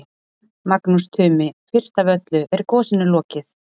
Magnús Tumi, fyrst af öllu, er gosinu lokið?